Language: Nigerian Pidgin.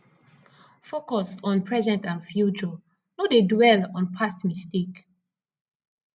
focus on present and future no dey dwell on past mistake